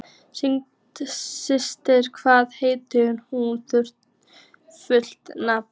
Systa, hvað heitir þú fullu nafni?